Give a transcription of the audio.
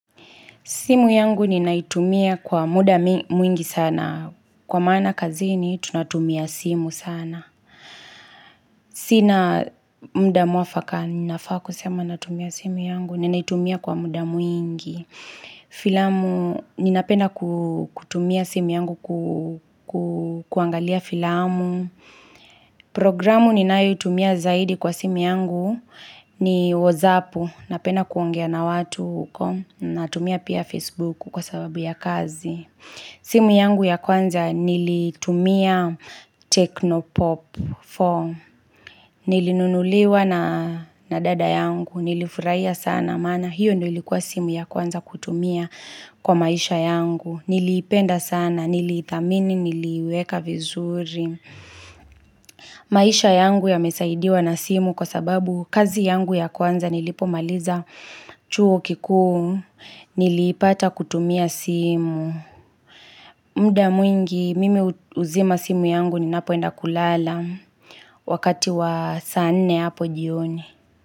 Simu yangu ninaitumia kwa muda mwingi sana. Kwa maana kazini, tunatumia simu sana. Sina muda mwafaka, ninafaa kusema natumia simu yangu. Ninaitumia kwa muda mwingi. Filamu, ninapenda kutumia simu yangu kuangalia filamu. Programu ninayo itumia zaidi kwa simu yangu ni WhatsApp. Napenda kuongea na watu. Natumia pia Facebook kwa sababu ya kazi simu yangu ya kwanza nilitumia Technopop 4 Nilinunuliwa na na dada yangu Nilifurahia sana maana hiyo ndio ilikuwa simu ya kwanza kutumia kwa maisha yangu Niliipenda sana, niliithamini, niliiweka vizuri maisha yangu yamesaidiwa na simu kwa sababu kazi yangu ya kwanza nilipomaliza chuo kikuu Niliipata kutumia simu muda mwingi mimi huzima simu yangu ni napoenda kulala Wakati wa saa nne hapo jioni.